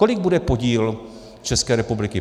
Kolik bude podíl České republiky?